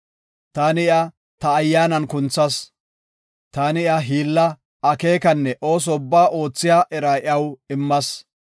Taani iya ta Ayyaanan kunthas; taani hiilla, akeekanne ooso ubbaa oothiya era iyaw immas.